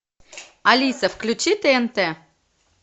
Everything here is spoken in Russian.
алиса включи тнт